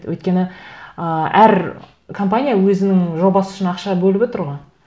өйткені ыыы әр компания өзінің жобасы үшін ақша бөліп отыр ғой